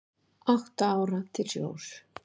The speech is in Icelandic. Átta ára til sjós